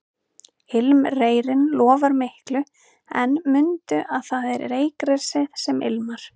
Ilmreyrinn lofar miklu en mundu að það er reyrgresið sem ilmar